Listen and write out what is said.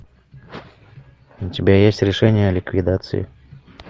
у тебя есть решение о ликвидации